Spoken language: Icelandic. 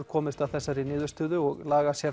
komist að þessari niðurstöðu og